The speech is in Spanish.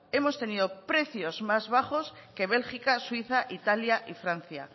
hemos tenido precios más bajos que bélgica suiza italia y francia